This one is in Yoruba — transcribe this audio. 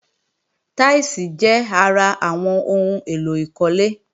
Táílsìì jẹ́ ara àwọn ohun èlò ìkólé